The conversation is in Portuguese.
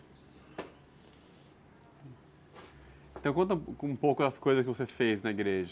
Então conta um pouco das coisas que você fez na igreja.